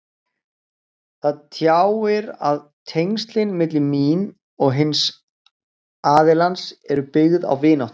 Það tjáir að tengslin milli mín og hins aðilans eru byggð á vináttu.